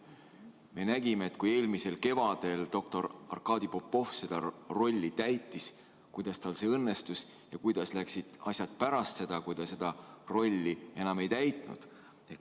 Me nägime, kuidas eelmisel kevadel, kui doktor Arkadi Popov seda rolli täitis, tal see õnnestus ja kuidas läksid asjad pärast seda, kui ta seda rolli enam ei täitnud.